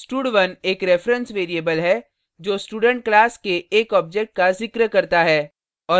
stud1 एक reference variable है जो student class के एक object का जिक्र करता है